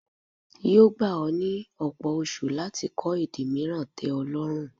Yóò gba ọ́ ní ọ̀pọ̀ oṣu láti kọ èdè mìíràn tẹ́ ọ lọ́rùn.